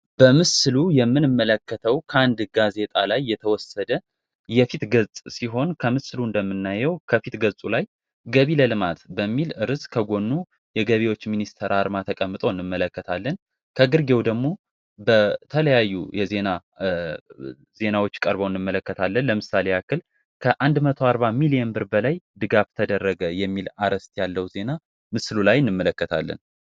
በምስሉ የምንመለከተው ከአንድ ጋዜጣ ላይ የተወሰደ የፊት ገጽ ሲሆን ከምስሩ እንደምናየው ከፊት ገጹ ላይ ገቢ ለልማት በሚል ርዕስ ከጎኑ የገቢዎች ሚኒስትር አርማ ተቀምጦ እንመለከታለን ከተለያዩ ዜናዎች ቀርቦ እንመለከታለን ለምሳሌ ያክል ከአንድ መቶ አርባ ሚሊዮን ብር በላይ ድጋፍ ተደረገ የሚል አርስት ያለው ዜና ምስሉ ላይ እንመለከታለን